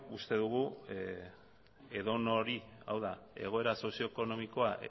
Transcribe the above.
uste dugu edonori hau da egoera sozio ekonomikoa